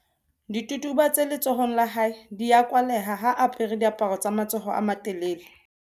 Ditubatuba tse letsohong la hae di a kwaleha ha a apare diaparo tsa matsoho a malelele.